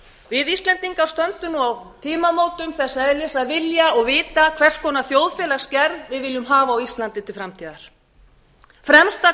við íslendingar stöndum á tímamótum þess eðlis að vilja og vita hvers konar þjóðfélagsgerð við viljum hafa á íslandi til framtíðar fremsta